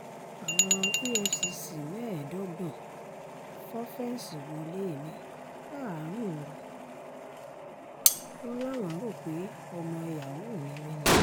àwọn efcc mẹ́ẹ̀ẹ́dọ́gbọ̀n fọ́ fẹ́ǹsì wọlé mi láàrin òru wọn láwọn rò pé ọmọ yahoo ni mí